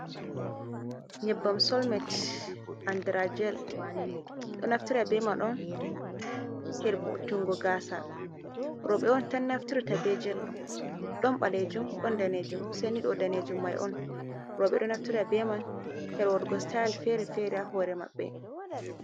nyebbam solmet anndira jel, ɗon naftira on her vo`utunngo gaasa roobe on tan naftirta beejel ɗo ,ɗon ɓaleejum ɗon daneejum say ni ɗo daneejum may on roobe ɗon naftira be may her waɗugo sitaayel fere -fera haa hoore mabɓe.